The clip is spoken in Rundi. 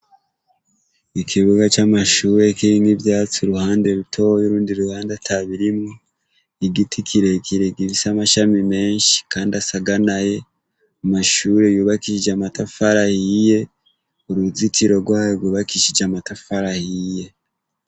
Ikibuga camashure kirimwo ivyatsi uruhande rutoya urundi ruhande atabirimwo igiti kirekire gifise amashami menshi kandi asaganaye amashure yubakishije amatafari ahiye uruzitiro rwayo gubakishije amatafari ahiye